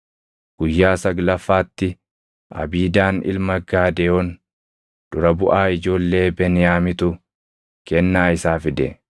Guyyaa saglaffaatti Abiidaan ilma Gaadeyoon dura buʼaa ijoollee Beniyaamitu kennaa isaa fide.